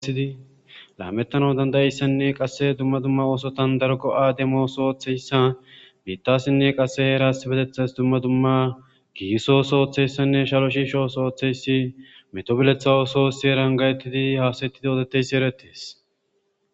Lamettana dandayeyssanne qasse dumma dumma oosotan dargo7ademo sooththeyssa biittasinne qasse eras betethas dumma dumma giisosooththeyssanne shalo shiishos ooththeyssi metobiletha oososi erangayettidi haasetidi odeteyssi erettes.